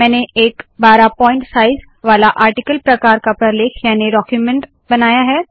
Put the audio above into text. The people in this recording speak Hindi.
मैंने एक १२ पॉइंट साइज़ वाला आर्टिकल प्रकार का प्रलेख याने डाक्यूमेन्ट बनाया है